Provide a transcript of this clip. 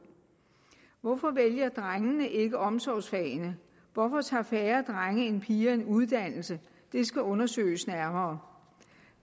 hvorfor vælger drengene ikke omsorgsfagene hvorfor tager færre drenge end piger en uddannelse det skal undersøges nærmere